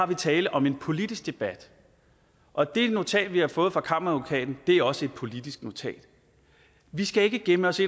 der tale om en politisk debat og det notat vi har fået fra kammeradvokaten er også et politisk notat vi skal ikke gemme os